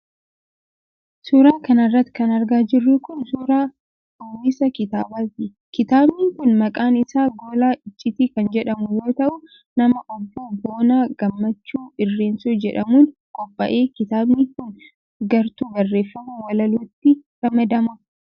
Suura kana irratti kan argaa jirru kun ,suura uwwisa kitaabaati. Kitaabni kun maqaan isaa Gola Iccitii kan jedhamu yoo ta'u, nama Obbo Boonaa Gammachuu Irreensoo jedhamuun qophaa'e. Kitaabni kun gartuu barreeffama walalootti ramadama.